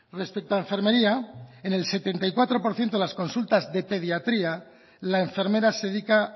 respecto a enfermería en el setenta y cuatro por ciento de las consultas de pediatría la enfermera se dedica